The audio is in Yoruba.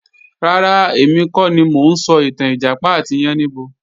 Rárá, èmi kọ́ ni mo ń sọ ìtàn Ìjàpá àti Yáníbo